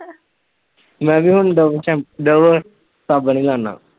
ਮੈ ਵੀ ਹੁਣ ਡਵ ਸੈਂਪ ਡਵ ਸਾਬਣ ਈ ਲਾਨਾ